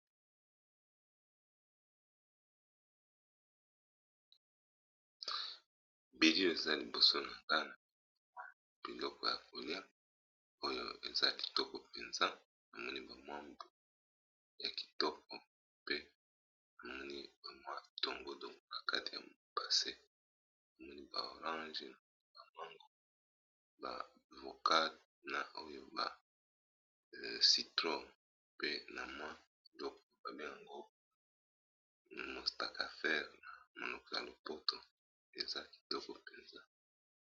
Video eza liboso na kana biloko ya kolia oyo eza kitoko mpenza bamoni ba mwambu ya kitoko pe bamoni mwa tongo do kakate ya passe bamoni ba orange bamango ba vokade na oyo bacytro pe na mwa piloko babenga gropa namostakafere na monoko ya lopoto eza kitoko mpenza.